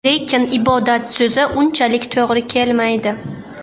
Lekin ibodat so‘zi unchalik to‘g‘ri kelmaydi.